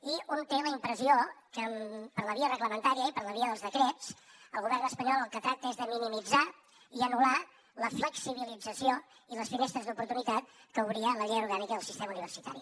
i un té la impressió que per la via reglamentària i per la via dels decrets el govern espanyol el que tracta és de minimitzar i anul·lar la flexibilització i les finestres d’oportunitat que obria la llei orgànica del sistema universitari